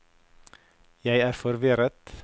jeg er forvirret